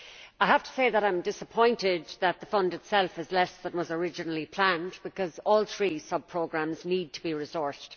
I have to say that I am disappointed that the fund itself is less than was originally planned, because all three sub programmes need to be resourced.